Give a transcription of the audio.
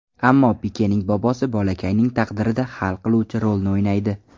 Ammo Pikening bobosi bolakayning taqdirida hal qiluvchi rolni o‘ynaydi.